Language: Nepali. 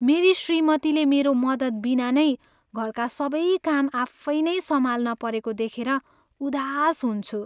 मेरी श्रीमतीले मेरो मद्दत बिना नै घरका सबै काम आफै नै सम्हाल्न परेको देखेर उदास हुन्छु।